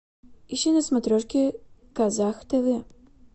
ищи на смотрешке казах тв